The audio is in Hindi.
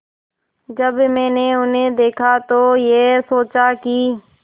जब मैंने उन्हें देखा तो ये सोचा कि